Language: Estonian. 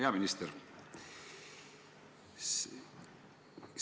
Hea minister!